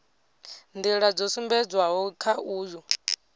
nḓila dzo sumbedzwaho kha uyu